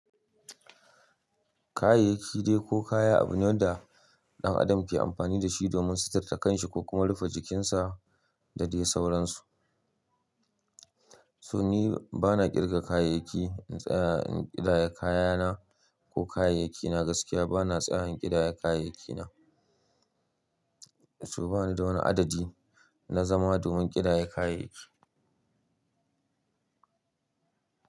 Kayayyaki dai ko kaya abu ne wanda ɗan adam ke amfani da shi domin suturta kanshi ko kuma rufe jikinsa da dai sauransu. To ni bana ƙirga kayayyaki, in tsaya in ƙidayar kayana ko kayayyakina gaskiya bana tsayawa in ƙidayar kayayyakina. To bani da wani adadi na zama domin ƙidayar kayayyaki.